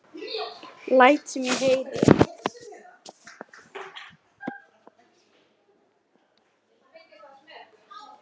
Læt sem ég heyri.